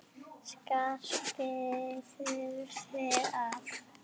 Skarpi þurfi að.